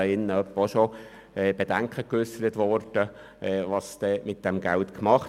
In diesem Saal wurden auch schon Bedenken geäussert, was dann mit diesem Geld geschehe.